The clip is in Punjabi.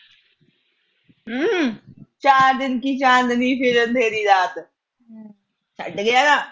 ਚਾਰ ਦਿਨ ਕੀ ਚਾਂਦਨੀ, ਫਿਰ ਅੰਧੇਰੀ ਰਾਤ। ਛੱਡ ਗਿਆ ਨਾ।